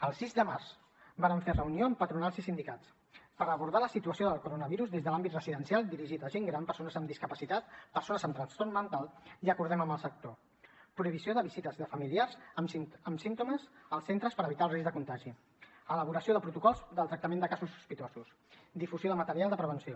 el sis de març vàrem fer reunió amb patronals i sindicats per abordar la situació del coronavirus des de l’àmbit residencial dirigit a gent gran persones amb discapacitat persones amb trastorn mental i acordem amb el sector prohibició de visites de familiars amb símptomes als centres per evitar el risc de contagi elaboració de protocols del tractament de casos sospitosos difusió de material de prevenció